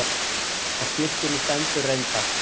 Á skiltinu stendur reyndar.